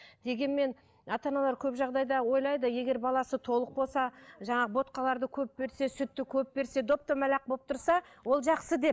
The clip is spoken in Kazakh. дегенмен ата аналар көп жағдайда ойлайды егер баласы толық болса жаңағы ботқаларды көп берсе сүтті көп берсе доп домалақ болып тұрса ол жақсы деп